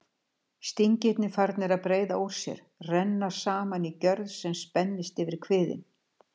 Stingirnir farnir að breiða úr sér, renna saman í gjörð sem spennist yfir kviðinn.